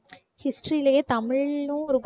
history லயே தமிழ்னு ஒரு